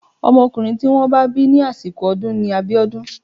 Ọmọkùnrin tí wọ́n bá bí ní àsìkò ọdún ni Abiodun.